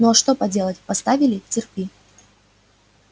ну а что поделать поставили терпи